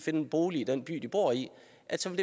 at tage